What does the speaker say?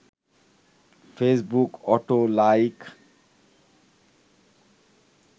Facebook auto like